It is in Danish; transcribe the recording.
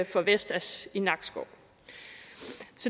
for vestas i nakskov